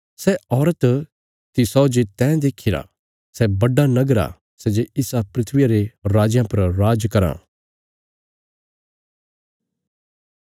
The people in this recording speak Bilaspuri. सै औरत तिसौ जे तैं देखीरा सै बड्डा नगर आ सै जे इसा धरतिया रे राजयां पर राज कराँ